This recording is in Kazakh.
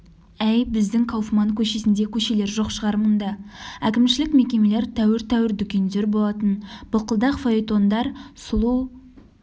әй біздің кауфман көшесіндей көшелер жоқ шығар мұнда әкімшілік мекемелер тәуір-тәуір дүкендер болатын былқылдақ фаэтондар сұлу